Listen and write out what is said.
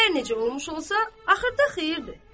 Hər necə olmuş olsa, axırda xeyirdir.